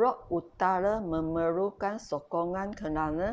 rock utara memerlukan sokongan kerana